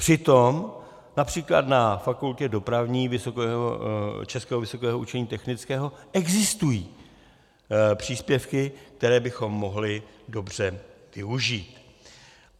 Přitom například na Fakultě dopravní Českého vysokého učení technického existují příspěvky, které bychom mohli dobře využít.